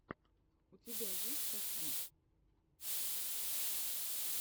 у тебя есть тати